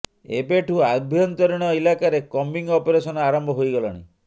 ଏବେ ଠୁ ଆଭ୍ୟନ୍ତରୀଣ ଇଲାକାରେ କମ୍ବିଂ ଅପରେସନ ଆରମ୍ଭ ହୋଇଗଲାଣି